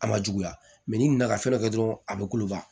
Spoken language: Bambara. A ma juguya ni nana ka fɛn dɔ kɛ dɔrɔn a be kuloba